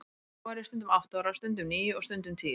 Þá var ég stundum átta ára, stundum níu og stundum tíu.